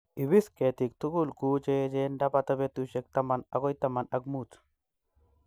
Ipis ketik guk che echen ndapata petushek taman agoi taman ak mut